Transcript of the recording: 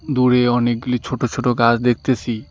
দূরে অনেকগুলি ছোট ছোট গাছ দেখতেসি।